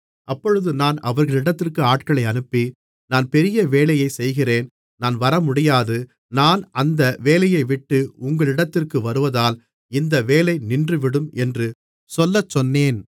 அப்பொழுது நான் அவர்களிடத்திற்கு ஆட்களை அனுப்பி நான் பெரிய வேலையைச் செய்கிறேன் நான் வரமுடியாது நான் அந்த வேலையைவிட்டு உங்களிடத்திற்கு வருவதால் இந்த வேலை நின்றுவிடும் என்று சொல்லச்சொன்னேன்